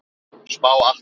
Spá Atla